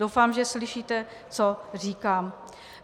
Doufám, že slyšíte, co říkám.